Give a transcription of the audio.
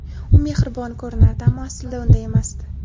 U mehribon ko‘rinardi, ammo aslida unday emasdi.